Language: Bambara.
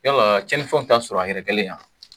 Yala cɛnni fɛnw t'a sɔrɔ a yɛrɛkɛlen ya?